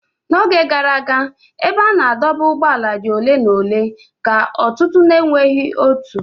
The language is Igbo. N'oge gara aga, ebe a na-adọba ụgbọala dị ole na ole ka ọtụtụ ndị na-enweghị otu.